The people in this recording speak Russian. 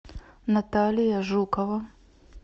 наталья жукова